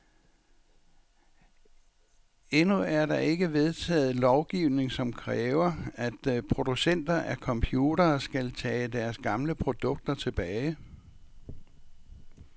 Endnu er der ikke vedtaget lovgivning, som kræver, at producenter af computere skal tage deres gamle produkter tilbage.